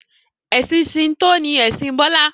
ẹsìn Shinto ni Ẹsìn Bola